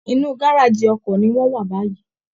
Inú gáràjì ọkọ̀ ni wọ́n wà báyìí